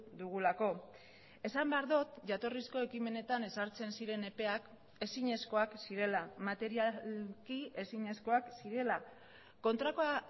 dugulako esan behar dut jatorrizko ekimenetan ezartzen ziren epeak ezinezkoak zirela materialki ezinezkoak zirela kontrakoa